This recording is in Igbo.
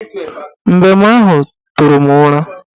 Mbem ahụ tụrụ m ụra